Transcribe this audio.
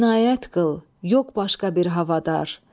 İnayət qıl, yox başqa bir havadar.